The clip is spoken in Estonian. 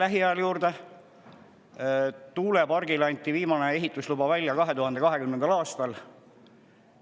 Viimane tuulepargi ehitusluba anti välja 2020. aastal.